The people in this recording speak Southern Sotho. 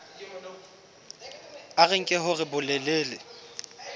a re nke hore bolelele